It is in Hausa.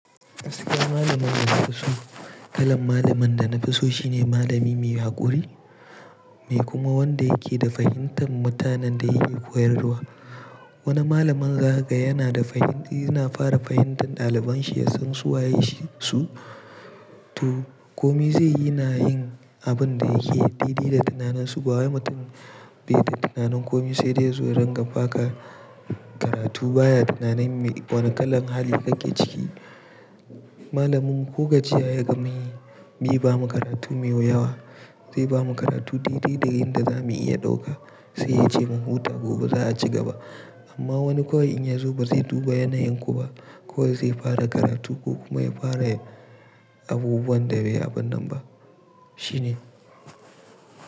Aske malamin na kuso. Kalan malamin dana fuso shine malami mai haƙuri, mai kuma wanda yake da fahimtar mutanen da yake koyarwa. Wani malamin ga yana da fahimti, yana fara fahimtar ɗaliban shi, ya san su waye su. To komi zai yi na yin abin da yake dede da tunanin su. Bawa mutum beta tunanin komi sai dai ya zo ya ranga faka karatu baya tunanin me wane kalan hali kake ciki. Malamin ko gajiya ya gama yi, mi ba mu karatu miyo yawa. Zai bamu karatu dai dai da yadda zamu iya ɗauka. Sai ya ce mu huta gobe za a cigaba. Amma wani kawai in ya zo ba zai duba yanayin ku ba, kawai zai fara karatu ko kuma ya fara abubuwan da bai abin nan ba. Shi ne.